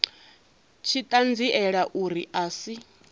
tshi ṱanziela uri a si